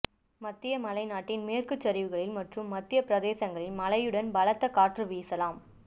மத்திய மலை நாட்டின் மேற்கு சரிவுகளில் மற்றும் மத்திய பிரதேசங்களில் மழையுடன் பலத்த காற்று வீசலாம்